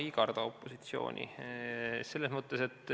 Ei karda opositsiooni.